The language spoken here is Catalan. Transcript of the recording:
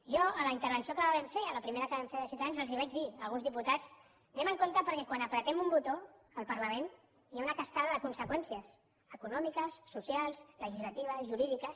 jo en la intervenció que vam fer en la primera que vam fer de ciutadans els vaig dir a alguns diputats anem en compte perquè quan apretem un botó al parlament hi ha una cascada de conseqüències econòmiques socials legislatives jurídiques